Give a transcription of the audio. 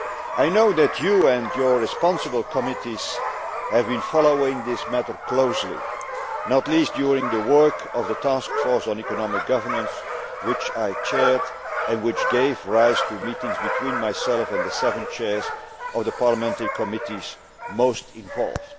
I know that you, and your responsible committees, have been following this matter closely, not least during the work of the Task Force on Economic Governance which I chaired and which gave rise to meetings between myself and the seven chairs of the parliamentary committees most involved.